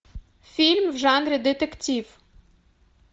фильм в жанре детектив